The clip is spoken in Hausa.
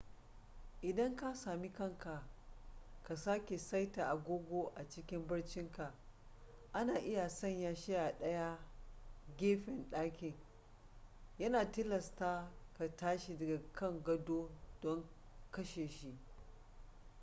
idan ka sami kanka ka sake saita agogo a cikin barcinka ana iya sanya shi a ɗaya gefen ɗakin yana tilasta ka tashi daga kan gado don kashe shi